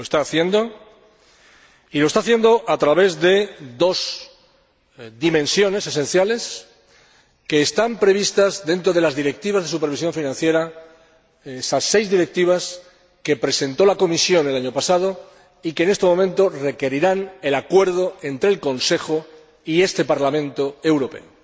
Lo está haciendo a través de dos dimensiones esenciales, que están previstas dentro de las Directivas de supervisión financiera, esas seis Directivas que presentó la Comisión el año pasado y que, en este momento, requerirán el acuerdo entre el Consejo y este Parlamento Europeo.